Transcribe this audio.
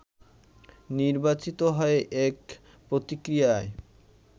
নির্বাচিত হয়ে এক প্রতিক্রিয়ায়